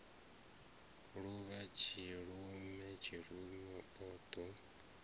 luvha tshilume tshilume o ḓo